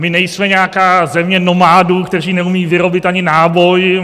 My nejsme nějaká země nomádů, kteří neumějí vyrobit ani náboj.